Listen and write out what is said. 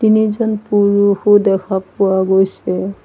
তিনিজন পুৰুষো দেখা পোৱা গৈছে।